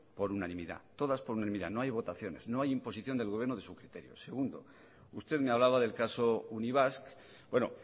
por unanimidad todas por unanimidad no hay votaciones no hay imposición del gobierno de su criterio segundo usted me hablaba del caso unibasq bueno